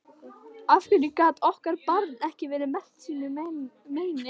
Af hverju gat okkar barn ekki verið merkt sínu meini?